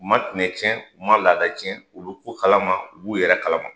U ma tinɛ cɛn u ma laada cɛn u be ko kalama u b'u yɛrɛ kalama